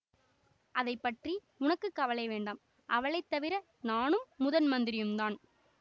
அதை பற்றி உனக்கு கவலை வேண்டாம் அவளை தவிர நானும் முதன் மந்திரியுந்தான்